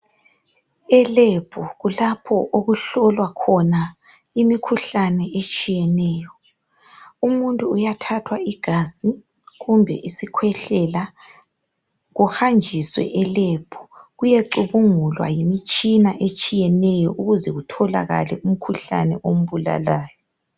e lab kulapho okuhlolwa khona imikhuhlane etshiyeneyo umutnu uyathathwa igazi kumbe isikhwehlela kuhanjiswe e lab kuyecubungulwa yimtshina etshiyeneyo ukuze kutholakalae imkhuhlane embulalayo